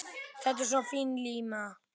Þetta er svo fín lína.